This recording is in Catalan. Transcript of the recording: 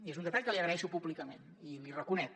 i és un detall que li agraeixo públicament i li reconec